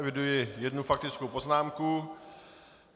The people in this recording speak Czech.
Eviduji jednu faktickou poznámku.